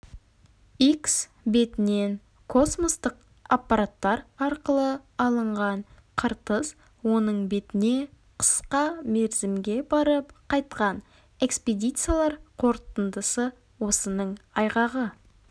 икс бетінен космостық аппараттар арқылы алынған қыртыс оның бетіне қысқа мерзімге барып қайтқан экспедициялар қорытындысы осының айғағы